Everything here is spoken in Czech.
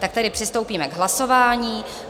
Tak tedy přistoupíme k hlasování.